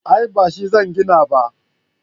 a'a ba shi zan gina ba